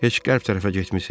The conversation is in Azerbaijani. Heç qərb tərəfə getmisiz?